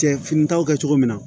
Cɛ fini ta kɛ cogo min na